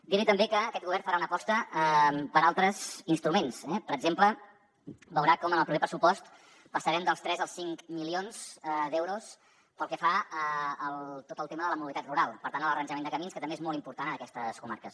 dir li també que aquest govern farà una aposta per altres instruments eh per exemple veurà com en el proper pressupost passarem dels tres als cinc milions d’euros pel que fa a tot el tema de la mobilitat rural per tant a l’arranjament de camins que també és molt important en aquestes comarques